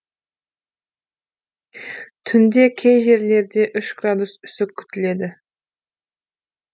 түнде кей жерлерде үш градус үсік күтіледі